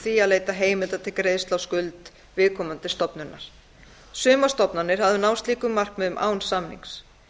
að leita heimilda til greiðslu á skuld viðkomandi stofnunar sumar stofnanir hafa náð slíkum markmiðum án samnings